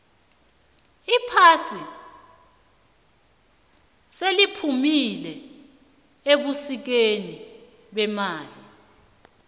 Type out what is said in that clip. iphasi seliphumile ebusikeni bemali